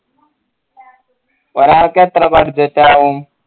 ഒരാൾക്ക് എത്ര budget ആവൂ